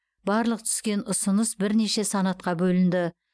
барлық түскен ұсыныс бірнеше санатқа бөлінді